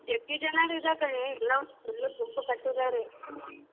ಹೆಚ್ಚಿಗೆ ಜನ ಇದಾರೆ ಕಣೆ ಎಲ್ಲ full ಗುಂಪು ಕಟ್ಟಿದ್ದಾರೆ.